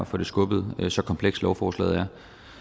få det skubbet så komplekst som lovforslaget er